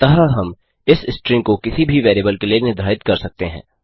अतः हम इस स्ट्रिंग को किसी भी वेरिएबल के लिए निर्धारित कर सकते हैं